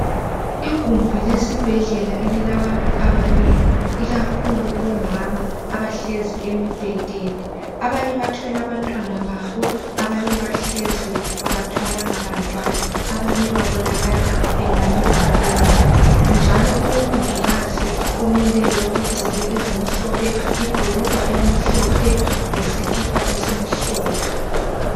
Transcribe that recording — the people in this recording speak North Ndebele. Igumbi lesibhedlela elilabantu abanengi, ikakhulu omama abahlezi emibhedeni. Abanye bathwele abantwana babo, abanye bahlezi abathwalanga bantwana. Abanye babonakala engani balele njalo kulomongikazi omileyo ogqoke ezimhlophe, ibhurugwa elimhlophe lesikipa esimhlophe.